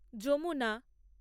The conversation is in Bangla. যমুনা